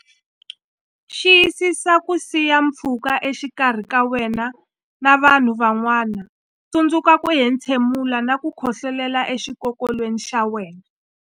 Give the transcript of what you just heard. Wena Xiyisisa ku siya pfhuka exikarhi ka wena na vanhu van'wana Tsundzuka ku entshemula na ku khohlolela exikokolweni xa wena.